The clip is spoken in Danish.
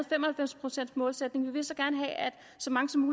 fem og halvfems procents målsætningen vi vil så gerne have at så mange som